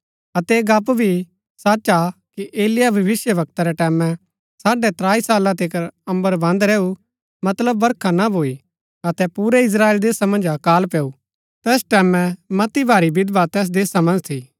अतै ऐह गप्‍प भी सच हा कि एलिय्याह भविष्‍यवक्ता रै टैमैं साढ़ै त्राई साला तिकर अम्बर बन्द रैऊ मतलब बरखा ना भूई अतै पूरै इस्त्राएल देशा मन्ज अकाल पैऊ तैस टैमैं मती भारी विधवा तैस देशा मन्ज थी